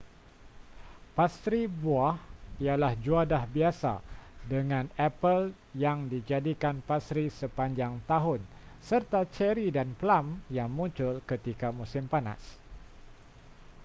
pastri buah ialah juadah biasa dengan epal yang dijadikan pastri sepanjang tahun serta ceri dan plum yang muncul ketika musim panas